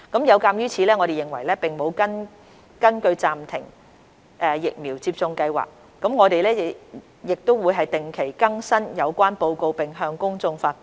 有鑒於此，我們認為並無根據暫停疫苗接種計劃，我們亦會定期更新有關的報告並向公眾發布。